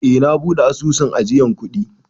Eh, na buɗe asusun ajiyan kuɗi.